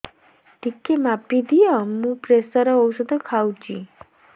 ଟିକେ ମାପିଦିଅ ମୁଁ ପ୍ରେସର ଔଷଧ ଖାଉଚି